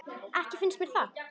Ekki finnst mér það.